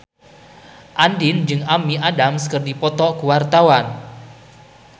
Andien jeung Amy Adams keur dipoto ku wartawan